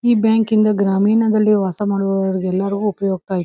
ಈ ಬ್ಯಾಂಕಿಂ ದ ಗ್ರಾಮೀಣದಲ್ಲಿ ವಾಸ ಮಾಡುವ ಎಲ್ಲಾರಿಗೂ ಉಪಯೋಕ್ತ ಐತಿ.